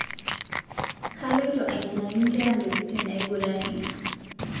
Kaloito ainyangaki nkera ntokitin naiguranie